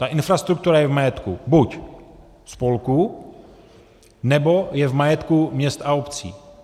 Ta infrastruktura je v majetku buď spolku, nebo je v majetku měst a obcí.